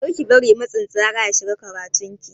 Kar ki bari matsin tsara ya shafi karatun ki.